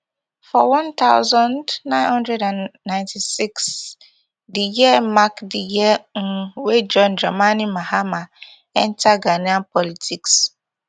for one thousand, nine hundred and ninety-six di year mark di year um wey john dramani mahama enta ghanaian politics